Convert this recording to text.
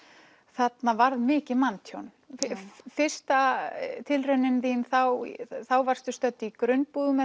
þarna varð mikið manntjón fyrsta tilraunin þín þá varstu stödd í grunnbúðum